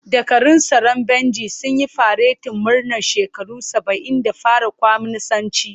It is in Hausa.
Dakarun tsaron Bejin sun yi faretin murnar shekara saba'in da fara kwaminisanci.